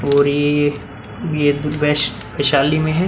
और ये ये तो वेस्ट वैशाली में है।